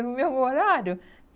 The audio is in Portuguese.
no mesmo horário.